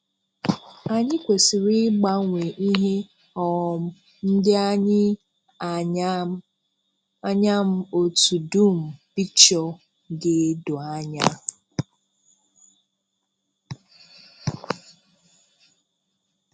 Anyị kwesì̀rị̀ ịgbanwe ihe um ndị anyị ànyà m anya m otú dum picture ga-èdò ànyà.